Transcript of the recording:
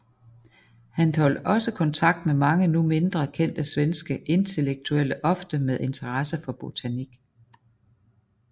Han holdt også kontakt med mange nu mindre kendte svenske intellektuelle ofte med interesse for botanik